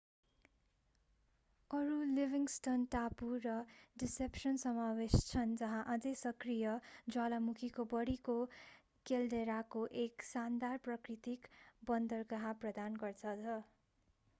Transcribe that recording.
अरू लिभिंग्स्टन टापु र डिसेप्सन समावेश छन् जहाँ अझै सक्रिय ज्वालामुखीको बाढीको केल्डेराले एक सानदार प्राकृतिक बन्दरगाह प्रदान गर्दछ